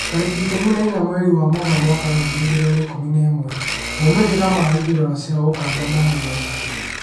Tarĩki ikũmi na inya mweri wa Mũgaa mwaka wa ngiri igĩrĩ na ikũmi na ĩmwe, Maumĩrĩra ma ithurano cia Uganda maumire rĩ?